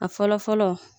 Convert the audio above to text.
A fɔlɔ fɔlɔ